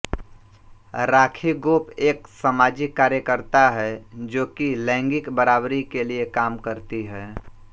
राखी गोप एक समाजिक कार्यकर्ता हैं जोकि लैंगिक बराबरी के लिए काम करती है